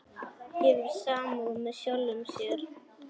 Hefur samúð með sjálfum sér.